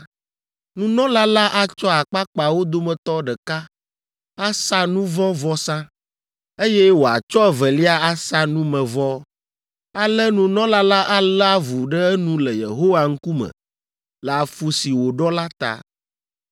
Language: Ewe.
Nunɔla la atsɔ akpakpawo dometɔ ɖeka asa nu vɔ̃ vɔsa, eye wòatsɔ evelia asa numevɔ. Ale nunɔla la alé avu ɖe enu le Yehowa ŋkume le afu si wòɖɔ la ta.